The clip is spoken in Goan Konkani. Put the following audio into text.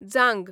जांग